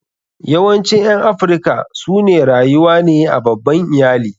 Yawancin ƴan Afrika su ne rayuwa ne a babban iyali.